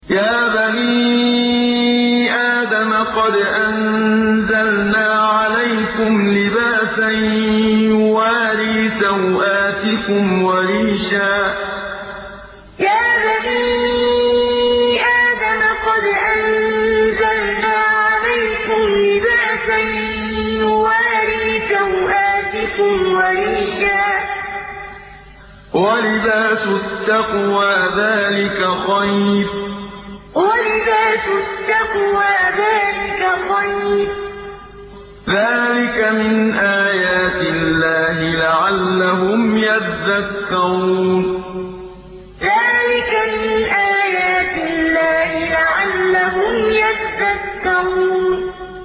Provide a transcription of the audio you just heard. يَا بَنِي آدَمَ قَدْ أَنزَلْنَا عَلَيْكُمْ لِبَاسًا يُوَارِي سَوْآتِكُمْ وَرِيشًا ۖ وَلِبَاسُ التَّقْوَىٰ ذَٰلِكَ خَيْرٌ ۚ ذَٰلِكَ مِنْ آيَاتِ اللَّهِ لَعَلَّهُمْ يَذَّكَّرُونَ يَا بَنِي آدَمَ قَدْ أَنزَلْنَا عَلَيْكُمْ لِبَاسًا يُوَارِي سَوْآتِكُمْ وَرِيشًا ۖ وَلِبَاسُ التَّقْوَىٰ ذَٰلِكَ خَيْرٌ ۚ ذَٰلِكَ مِنْ آيَاتِ اللَّهِ لَعَلَّهُمْ يَذَّكَّرُونَ